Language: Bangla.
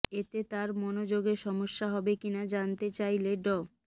এতে তার মনযোগে সমস্যা হবে কিনা জানতে চাইলে ড